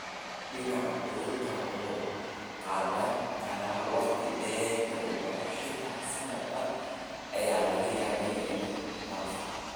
Dillaaca cudurkani wuxuu qaadan karaa waqti dheer inuu baxo xitaa sannad dhan ayaa laga yaabaa inuu dhaafo.